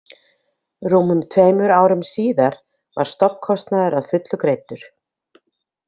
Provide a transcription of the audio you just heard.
Rúmum tveimur árum síðar var stofnkostnaður að fullu greiddur.